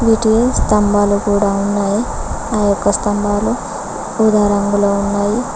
ఇటు స్తంబాలు కూడా ఉన్నాయి ఆ యొక్క స్తంబాలు ఉదా రంగులో ఉన్నాయి.